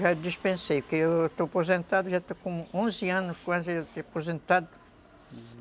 Já dispensei, que eu estou aposentado, já estou com onze anos, quase aposentado.